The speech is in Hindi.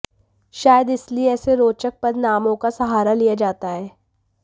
शायद इसलिए ऐसे रोचक पद नामों का सहारा लिया जाता है